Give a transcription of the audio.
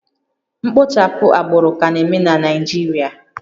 Mkpochapụ agbụrụ ka na-eme na Naịjirịa